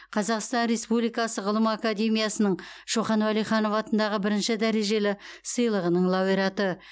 қазақстан республикасы ғылым академиясының шоқан уәлиханов атындағы бірінші дәрежелі сыйлығының лауреаты